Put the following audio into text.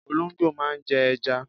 Olóńgbò máa ń jẹ ẹja.